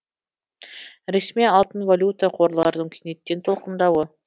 ресми алтын валюта қорларының кенеттен толқындауы